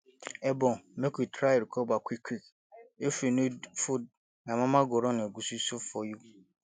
egbon make you try recover quickquick if you need food my mama go run egusi soup for you